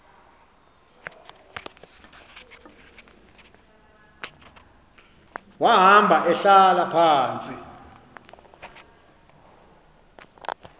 wahamba ehlala phantsi